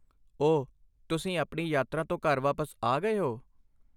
ਓ, ਤੁਸੀਂ ਆਪਣੀ ਯਾਤਰਾ ਤੋਂ ਘਰ ਵਾਪਸ ਆ ਗਏ ਹੋ?